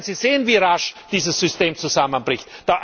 Da werden Sie sehen, wie rasch dieses System zusammenbricht.